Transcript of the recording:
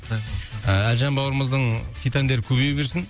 әлжан бауырымыздың хит әндері көбейе берсін